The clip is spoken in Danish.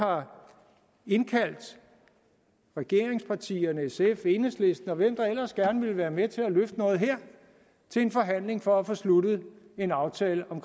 har indkaldt regeringspartierne sf enhedslisten og hvem der ellers gerne vil være med til at løfte noget her til en forhandling for at få sluttet en aftale om